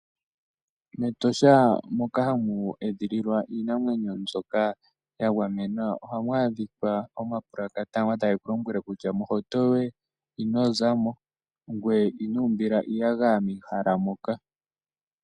Metosha moka ha mu edhililwa iinamwenyo mbyoka, yagamenwa oha mu adhika omapulukata goka tage kulombwele kutya mo hawuto yoye ino zamo ngwee inuumbila iiyaga mehala moka.